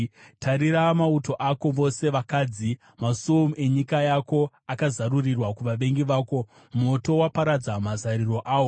Tarira mauto ako, vose vakadzi! Masuo enyika yako akazarurirwa kuvavengi vako; moto waparadza mazariro awo.